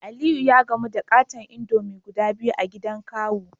Aliyu ya gamu da katon indomie guda biyu a gidan kawu